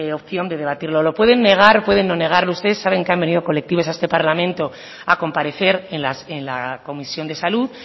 opción de debatirlo lo pueden negar o pueden no negarlo ustedes saben que han venido colectivos a este parlamento a comparecer en la comisión de salud